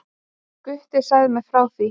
Gutti sagði mér frá því.